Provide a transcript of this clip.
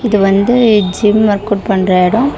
இது வந்து gym workout பண்ற எடோ.